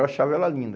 Eu achava ela linda.